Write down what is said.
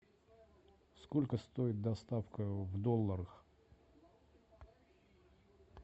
сколько стоит доставка в долларах